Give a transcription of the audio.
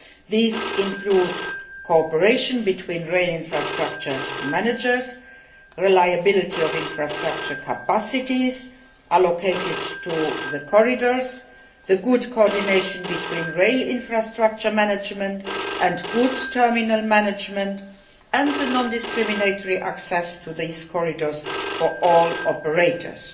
These include cooperation between rail infrastructure managers, reliability of infrastructure capacities allocated to the corridors, good coordination between rail infrastructure management and goods terminal management, and non discriminatory access to these corridors for all operators.